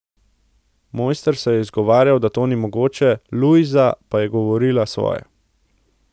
Mojster se je izgovarjal, da to ni mogoče, Lujza pa je govorila svoje.